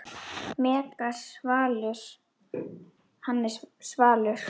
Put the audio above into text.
Megas Valur, Hannes Svalur.